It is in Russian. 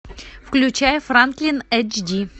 включай франклин эйч ди